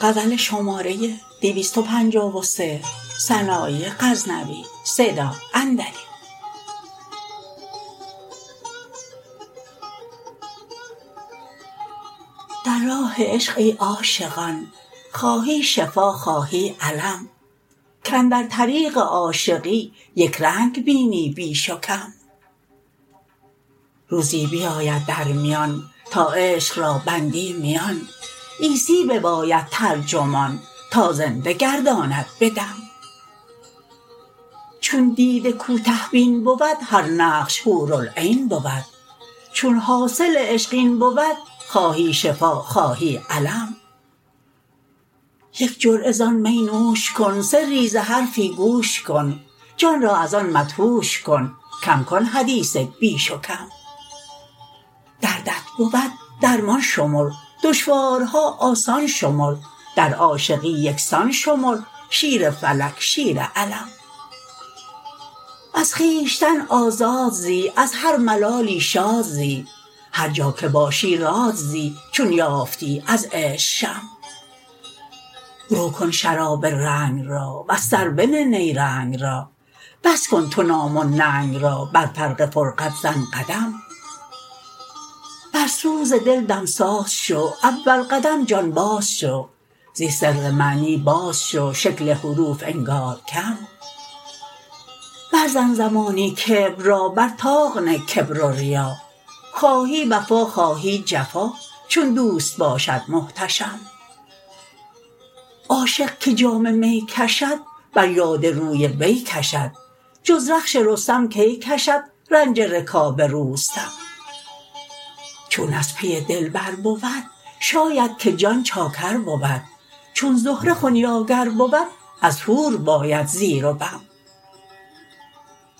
در راه عشق ای عاشقان خواهی شفا خواهی الم کاندر طریق عاشقی یک رنگ بینی بیش و کم روزی بیاید در میان تا عشق را بندی میان عیسی بباید ترجمان تا زنده گرداند به دم چون دیده کوته بین بود هر نقش حورالعین بود چون حاصل عشق این بود خواهی شفا خواهی الم یک جرعه زان می نوش کن سری ز حرفی گوش کن جان را ازان مدهوش کن کم کن حدیث بیش و کم دردت بود درمان شمر دشوارها آسان شمر در عاشقی یکسان شمر شیر فلک شیر علم از خویشتن آزاد زی از هر ملالی شاد زی هر جا که باشی راد زی چون یافتی از عشق شم رو کن شراب رنگ را وز سر بنه نیرنگ را بس کن تو نام و ننگ را بر فرق فرقد زن قدم بر سوز دل دمساز شو اول قدم جان باز شو زی سر معنی باز شو شکل حروف انگار کم بر زن زمانی کبر را بر طاق نه کبر و ریا خواهی وفا خواهی جفا چون دوست باشد محتشم عاشق که جام می کشد بر یاد روی وی کشد جز رخش رستم کی کشد رنج رکاب روستم چون از پی دلبر بود شاید که جان چاکر بود چون زهره خنیاگر بود از حور باید زیر و بم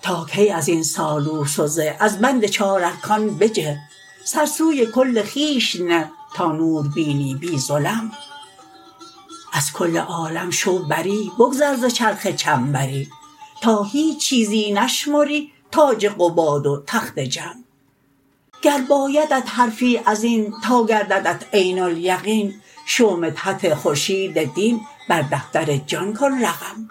تا کی ازین سالوس و زه از بند چار ارکان بجه سر سوی کل خویش نه تا نور بینی بی ظلم از کل عالم شو بری بگذر ز چرخ چنبری تا هیچ چیزی نشمری تاج قباد و تخت جم گر بایدت حرفی ازین تا گرددت عین الیقین شو مدحت خورشید دین بر دفتر جان کن رقم